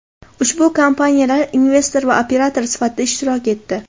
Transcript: Ushbu kompaniyalar investor va operator sifatida ishtirok etdi.